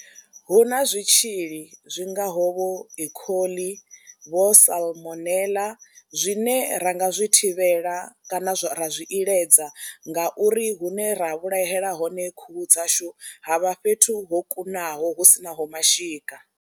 Hu na zwitzhili zwi ngaho vho ecoli vho salmonela zwine ra nga zwi thivhela kana zwa ra zwi iledza ngauri hune ra vhulahela hone khuhu dzashu ha vha fhethu ho kunaho hu si naho mashika.